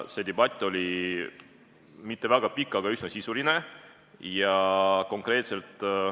See debatt ei olnud väga pikk, aga oli üsna sisuline.